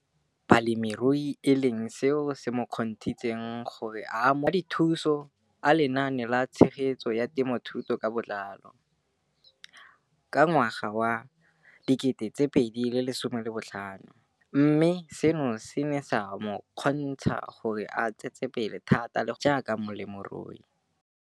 Balemirui e leng seo se mo kgontshitseng gore a amogele madithuso a Lenaane la Tshegetso ya Te mothuo ka Botlalo CASP ka ngwaga wa 2015, mme seno se ne sa mo kgontsha gore a tsetsepele thata le go atlega jaaka molemirui.